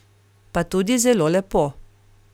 Pa tudi zelo lepo.